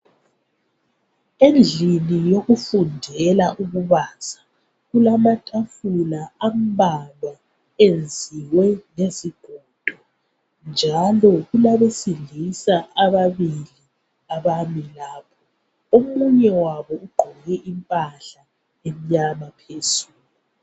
endlini yokufundela ukubaza kula matafula ambalwa enziwe ngezigodo njalo kulabesilisa ababili abami lapho omunye wabo ugqoke impahla emnyama phezulu